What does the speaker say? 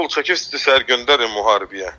Qol çəkisiz, sizi səhər göndərik müharibəyə.